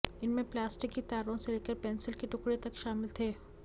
इनमें प्लास्टिक की तारों से लेकर पेंसिल के टुकड़े तक शामिल थे